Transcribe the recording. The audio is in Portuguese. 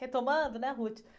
Retomando, né?